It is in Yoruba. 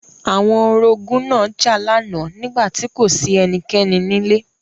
Àwọn orogún náà jà lánàá nígbà tí kò sí ẹnikẹ́ni nílé.